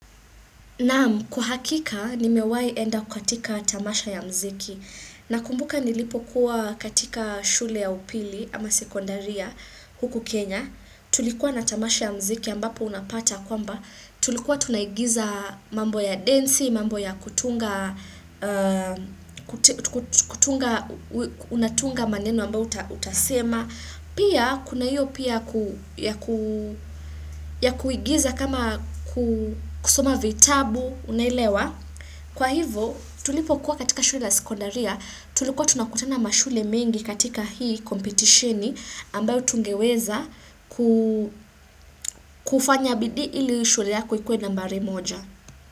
Naam, kwa hakika ni mewai enda kukatika tamasha ya mziki. Nakumbuka nilipo kuwa katika shule ya upili ama sekondaria huku Kenya. Tulikuwa na tamasha ya mziki ambapo unapata kwamba. Tulikuwa tunaigiza mambo ya densi, mambo ya kutunga, unatunga maneno ambayo utasema. Pia kuna hiyo pia ya kuigiza kama kusoma vitabu unaelewa. Kwa hivo tulipo kuwa katika shule la sekondaria tulikuwa tunakutana mashule mengi katika hii competitioni ambayo tungeweza kufanya bidii ili shule yako ikuwe nambari moja.